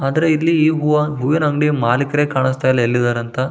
ಆದರೆ ಇಲ್ಲಿ ಈ ಹೂವ ಹೂವಿನ ಅಂಗಡಿ ಮಾಲೀಕರೇ ಕಾಣಿಸ್ತಾ ಇಲ್ಲ ಎಲ್ಲಿದ್ದಾರೆ ಅಂತ--